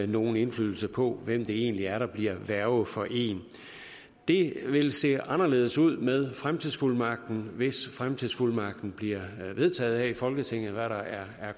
nogen indflydelse på hvem det egentlig er der bliver værge for en det vil se anderledes ud med fremtidsfuldmagten hvis fremtidsfuldmagten bliver vedtaget her i folketinget hvad der er